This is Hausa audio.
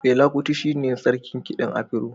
Fela Kuti shi ne sarkin kiɗan afiro